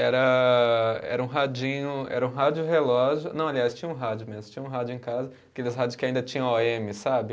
Era, era um radinho, era um rádio relógio, não, aliás, tinha um rádio mesmo, tinha um rádio em casa, aqueles rádios que ainda tinham ó eme, sabe?